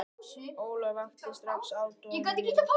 Ólöf vakti strax aðdáun mína.